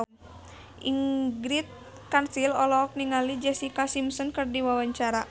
Ingrid Kansil olohok ningali Jessica Simpson keur diwawancara